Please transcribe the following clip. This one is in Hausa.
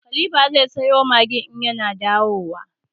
Khalifa zai sayo Maggin in ya na dawowa.